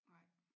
Nej